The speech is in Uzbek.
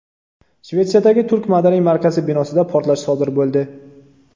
Shvetsiyadagi turk madaniy markazi binosida portlash sodir bo‘ldi.